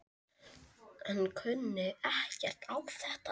Hann kunni ekkert á þetta.